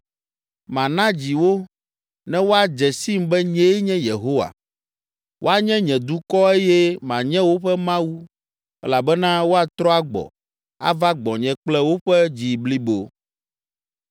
Mana dzi wo, ne woadze sim be nyee nye Yehowa. Woanye nye dukɔ eye manye woƒe Mawu elabena woatrɔ agbɔ, ava gbɔnye kple woƒe dzi blibo.’